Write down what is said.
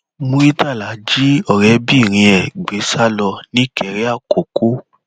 muritàlá jí ọrẹbìnrin ẹ gbé sá lọ nìkéré àkọkọ